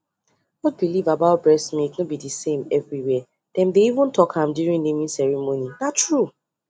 old belief about breast milk no be the same everywhere dem dey even talk am during naming ceremony na true